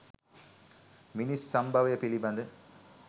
මිනිස් සම්භවය පිළිබඳ